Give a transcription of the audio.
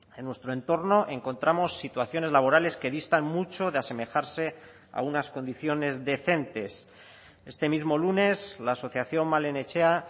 en nuestro entorno encontramos situaciones laborales que distan mucho de asemejarse a unas condiciones decentes este mismo lunes la asociación malen etxea